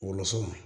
Wolosɛbɛn